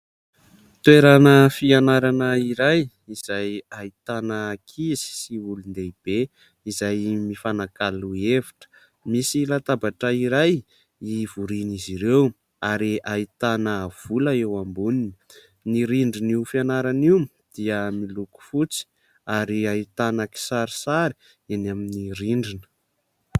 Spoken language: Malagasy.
Toerana fianarana iray izay ahitana ankizy sy olon-dehibe izay mifanakalo hevitra. Misy latabatra iray hivorian'izy ireo ary ahitana vola eo amboniny ; ny rindrin'io fianarana io dia miloko fotsy ary ahitana kisarisary eny amin'ny rindrina.